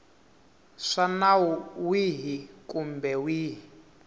swa nawu wihi kumbe wihi